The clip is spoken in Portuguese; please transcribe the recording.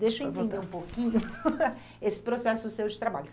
Deixa eu entender um pouquinho esse processo seu de trabalho.